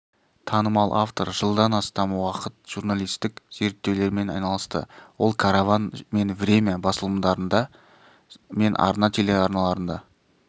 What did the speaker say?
танымал автор жылдан астам уақыт журналистік зерттеулермен айналысты ол караван мен время басылымдарында мен арна телеарналарында